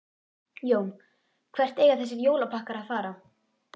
Jón: Hvert eiga þessir jólapakkar að fara?